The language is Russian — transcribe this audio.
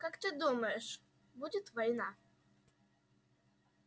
как ты думаешь будет война